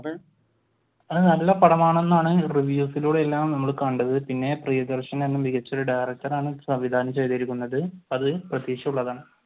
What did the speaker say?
ആ നല്ല പടമാണെന്നാണ് reviews ലൂടെ എല്ലാം നമ്മൾ കണ്ടത്. പിന്നെ പ്രിയദർശൻ എന്നുള്ള മികച്ച ഒരു ഡയറക്ടർ ആണ് സംവിധാനം ചെയ്തിരിക്കുന്നത്. അത് പ്രതീക്ഷയുള്ളതാണ്.